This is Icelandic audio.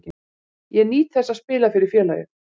Ég nýt þess að spila fyrir félagið.